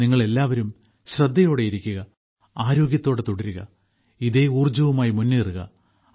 നിങ്ങളെല്ലാവരും ശ്രദ്ധയോടെയിരിക്കുക ആരോഗ്യത്തോടെ തുടരുക ഇതേ ഊർജ്ജവുമായി മുന്നേറുക